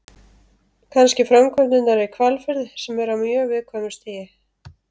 Kannski framkvæmdirnar í Hvalfirði sem eru á mjög viðkvæmu stigi.